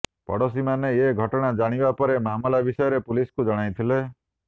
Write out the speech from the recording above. ପଡ଼ୋଶୀମାନେ ଏ ଘଟଣା ଜାଣିବା ପରେ ମାମଲା ବିଷୟରେ ପୁଲିସକୁ ଜଣାଇଥିଲେ